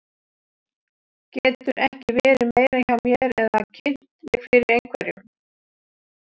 Geturðu ekki verið meira hjá mér eða kynnt mig fyrir einhverjum.